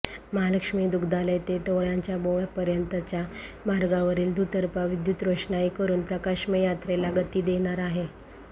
महालक्ष्मी दुग्धालय ते टोळांचा बोळपर्यंतच्या मार्गावरील दुतर्फा विद्युत रोषणाई करुन प्रकाशमय यात्रेला गती देणार आहे